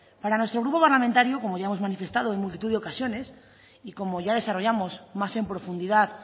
para nuestro grupo parlamentario como ya hemos manifestado en multitud de ocasiones y como ya desarrollamos más en profundidad